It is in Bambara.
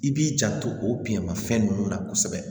I b'i janto o biɲɛma fɛn ninnu na kosɛbɛ